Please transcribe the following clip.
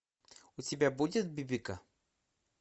у тебя будет бибика